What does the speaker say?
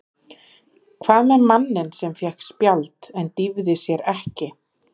Hvað með manninn sem fékk spjald en dýfði sér ekki?